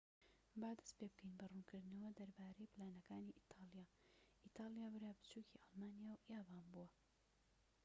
با دەست پێبکەین بە ڕوونکردنەوە دەربارەی پلانەکانی ئیتاڵیا ئیتالیا برا بچوکی ئەڵمانیا و یابان بووە